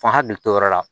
F'an hakili t'o yɔrɔ la